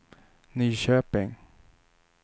Nyköping